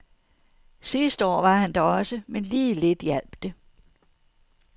Sidste år var han der også, men lige lidt hjalp det.